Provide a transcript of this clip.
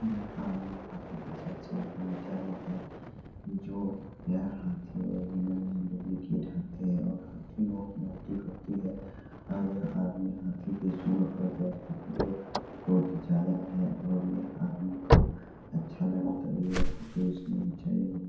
यह आदमी हाथी के साथ सेल्फी घीचाया है जो यह हाथी और हाथी लोग मोटी होती है और यह आदमी हाथी के सूढ़ पर बैठ के फ़ोटो को खिचाया है और यह आदमी को अच्छा लगा तभी यह फ़ोटो इसने घीचाया है।